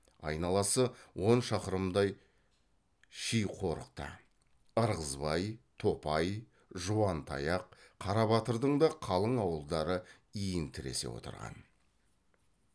айналасы он шақырымдай шиқорықта ырғызбай топай жуантаяқ қарабатырдың да қалың ауылдары иін тіресе отырған